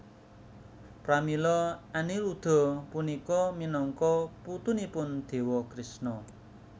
Pramila Aniruda punika minangka putunipun Dewa Krishna